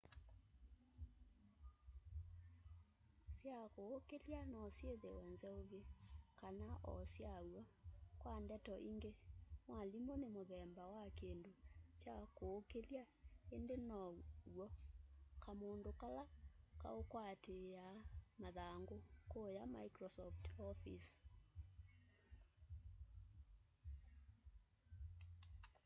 sya kũũkĩlya no syithiwe nzeuvye kana o syaw'o kwa ndeto ingi mwalimu nĩ muthemba wa kindu kya kuukilya indi now'o kamundu kala kaukwatiia mathangu kuya microsoft office